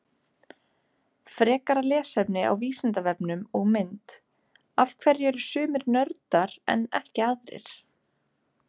Frekara lesefni á Vísindavefnum og mynd: Af hverju eru sumir nördar en ekki aðrir?